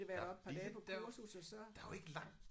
Og lige dér der jo ikke langt